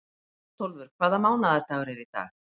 Bótólfur, hvaða mánaðardagur er í dag?